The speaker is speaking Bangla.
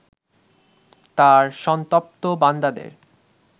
তাঁর সন্তপ্ত বান্দাদের